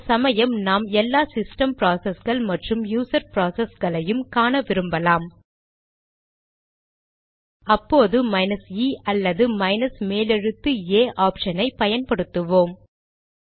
சில சமயம் நாம் எல்லா சிஸ்டம் ப்ராசஸ்கள் மற்றும் யூசர் ப்ராசஸ்களையும் காண விரும்பலாம் அப்போது மைனஸ் இe அல்லது மைனஸ் மேலெழுத்து ஏA ஆப்ஷன் ஐ பயன்படுத்துவோம்